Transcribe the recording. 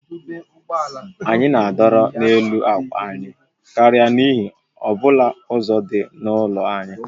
Anyị na-adọrọ n'elu akwa anyị karịa n'ihe ọ bụla ọzọ dị n'ụlọ anyị